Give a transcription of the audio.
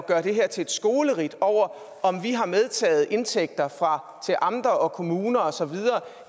gøre det her til et skoleridt over om vi har medtaget indtægter til amter og kommuner osv